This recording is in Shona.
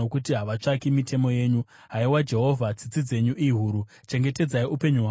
Haiwa Jehovha, tsitsi dzenyu ihuru; chengetedzai upenyu hwangu maererano nemirayiro yenyu.